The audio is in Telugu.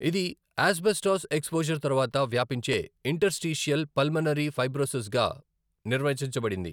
ఇది ఆస్బెస్టాస్ ఎక్స్పోజర్ తర్వాత వ్యాపించే ఇంటర్స్టీషియల్ పల్మనరీ ఫైబ్రోసిస్గా నిర్వచించబడింది.